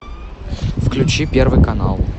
включи первый канал